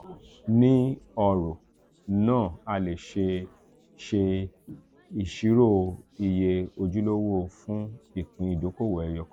ni ọro naa a le ṣe ṣe iṣiro iye ojulowo fun ipin idokowo eyo kan.